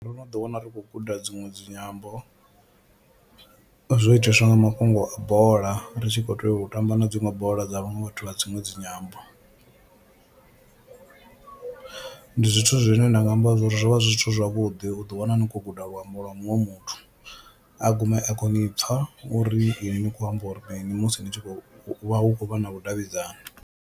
Ndo no ḓi wana ri khou guda dziṅwe dzinyambo zwo itiswa nga mafhungo a bola ri tshi khou tea u tamba na dziṅwe bola dza vhaṅwe vhathu vha dziṅwe dzinyambo, ndi zwithu zwine nda nga amba zwa uri zwo vha zwi zwithu zwavhuḓi u ḓi wana ni khou guda luambo lwa muṅwe muthu a gume a khou ni pfha uri ini ni kho amba uri mini musi ni tshi khou vha hu khou vha na vhudavhidzani.